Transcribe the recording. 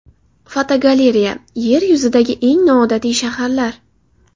Fotogalereya: Yer yuzidagi eng noodatiy shaharlar.